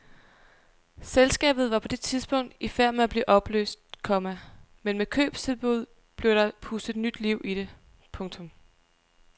Selskabet var på det tidspunkt i færd med at blive opløst, komma men med købstilbuddet blev der pustet nyt liv i det. punktum